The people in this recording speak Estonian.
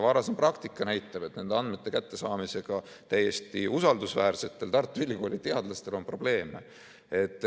Varasem praktika on näidanud, et nende andmete kättesaamisega on täiesti usaldusväärsetel Tartu Ülikooli teadlastel probleeme.